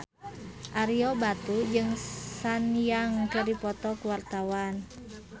Ario Batu jeung Sun Yang keur dipoto ku wartawan